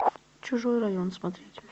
чужой район смотреть